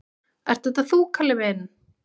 """Ert þetta þú, Kalli minn?"""